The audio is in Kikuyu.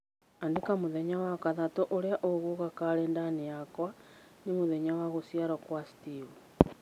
Andĩka mũthenya wa gatatũ ũrĩa ũgũũka karenda-inĩ yakwa ni mũthenya wa gũciarũo kwa Steve.